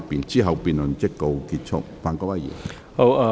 之後辯論即告結束。